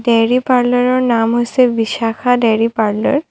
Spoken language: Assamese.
ডেইৰী পাৰ্লাৰৰ নাম হৈছে ভিছাখা ডেইৰী পাৰ্লাৰ ।